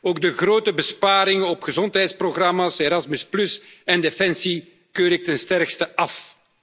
Ook de grote besparingen op gezondheidsprogramma's, Erasmus en defensie keur ik ten sterkste af.